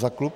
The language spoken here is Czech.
Za klub?